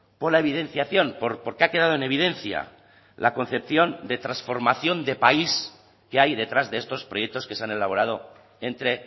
por la evidenciación porque ha quedado en evidencia la concepción de transformación de país que hay detrás de estos proyectos que se han elaborado entre